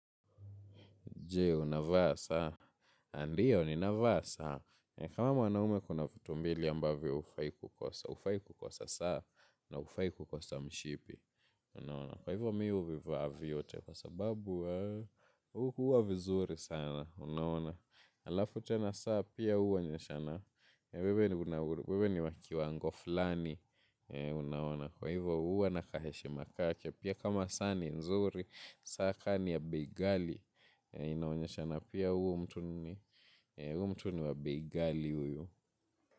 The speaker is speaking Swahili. Je, unavaa saa. Ndiyo, ninavaa saa. Kama mwanaume kuna vitu mbili ambavyo hufai kukosa. Ufai kukosa saa. Na hufai kukosa mshipi. Unaona. Kwa hivyo mimi huvivaa vyote. Kwa sababu huwa vizuri sana. Unaona. Alafu tena saa pia huonyeshana. Wewe ni wa kiwango flani. Unaona. Kwa hivyo huwa ina kaheshima kake. Pia kama saa ni nzuri. Saa kama ni ya bei ghali. Inaonyeshana pia huu mtu ni huu mtu ni wa bei ghali huyu.